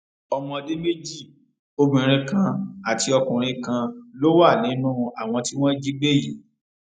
ọmọdé méjì obìnrin kan àti ọkùnrin kan ló wà nínú àwọn tí wọn jí gbé yìí